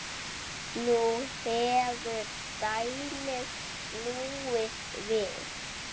Nú hefur dæmið snúist við.